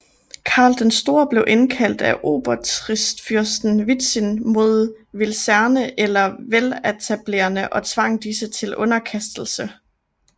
Karl den Store blev indkaldt af obotritfyrsten Witzin mod wilzerne eller welataberne og tvang disse til underkastelse